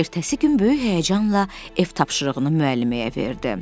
Ertəsi gün böyük həyəcanla ev tapşırığını müəlliməyə verdi.